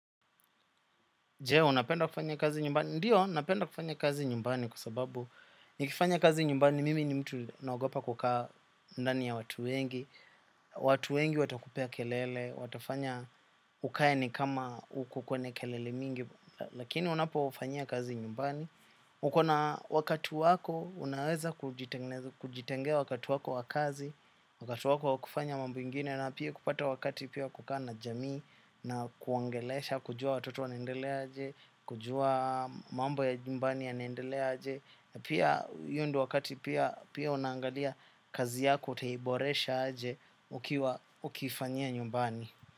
Je, unapenda kufanya kazi nyumbani. Ndiyo, napenda kufanya kazi nyumbani kwa sababu nikifanya kazi nyumbani mimi ni mtu naogopa kukaa ndani ya watu wengi. Watu wengi watakupea kelele, watafanya ukae ni kama uko kwenye kelele mingi, lakini unapo fanyia kazi nyumbani. Uko na wakati wako unaweza kujitengea wakati wako wa kazi, wakati wako wakufanya mambo ingine na pia kupata wakati pia kukaa na jamii na kuongelesha kujua watoto wanaendelea aje, kujua mambo ya nyumbani yanaendelea aje. Na pia hiyo ndio wakati pia pia unaangalia kazi yako utaiboresha aje ukiwa ukifanyia nyumbani.